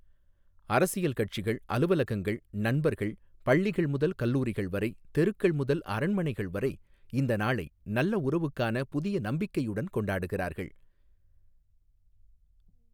அரசியல் கட்சிகள், அலுவலகங்கள், நண்பர்கள், பள்ளிகள் முதல் கல்லூரிகள் வரை, தெருக்கள் முதல் அரண்மனைகள் வரை இந்த நாளை நல்ல உறவுக்கான புதிய நம்பிக்கையுடன் கொண்டாடுகிறார்கள்.